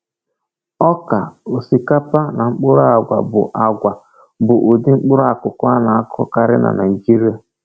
Ọka, osikapa, na mkpụrụ agwa bụ agwa bụ ụdị mkpụrụakụkụ a na-akụkarị na Naịjirịa.